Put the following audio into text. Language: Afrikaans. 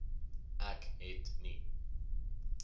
ek het nie